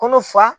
Kɔnɔ fa